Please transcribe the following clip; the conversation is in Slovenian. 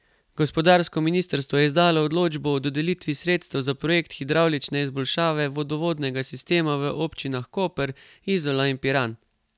Gospodarsko ministrstvo je izdalo odločbo o dodelitvi sredstev za projekt hidravlične izboljšave vodovodnega sistema v občinah Koper, Izola in Piran.